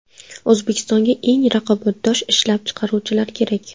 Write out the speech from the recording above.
O‘zbekistonga eng raqobatbardosh ishlab chiqaruvchilar kerak.